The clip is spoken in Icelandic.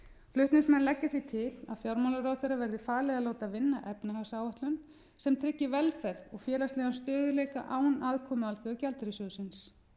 flutningsmenn leggja því til að fjármálaráðherra verði falið að láta vinna efnahagsáætlun sem tryggi velferð og félagslegan stöðugleika án aðkomu alþjóðagjaldeyrissjóðsins